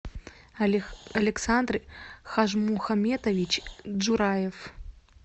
александр хажмухаметович джураев